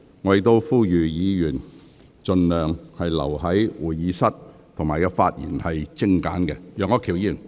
我亦呼籲議員盡量留在會議廳，並精簡發言。